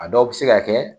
A dɔw bɛ se ka kɛ